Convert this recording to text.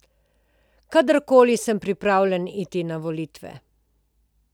Kadarkoli sem pripravljen iti na volitve.